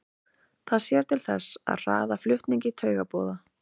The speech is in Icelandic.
Það sér til þess að hraða flutningi taugaboða.